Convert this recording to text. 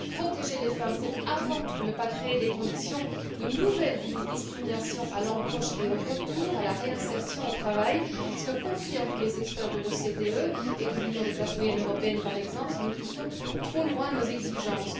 Protéger les femmes, c'est avant tout ne pas créer des conditions de nouvelles discriminations à l'embauche et au retour, à la réinsertion au travail, ce que confirment tous les experts de l'OCDE et de l'Union des classes moyennes par exemple, si nous poussons trop loin nos exigences.